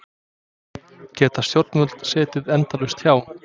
Geta stjórnvöld setið endalaust hjá?